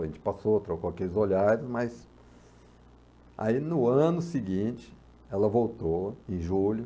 A gente passou, trocou aqueles olhares, mas... Aí, no ano seguinte, ela voltou, em julho.